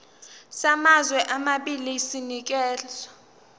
samazwe amabili sinikezwa